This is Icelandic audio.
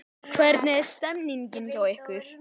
Hvernig er stemmingin hjá ykkur?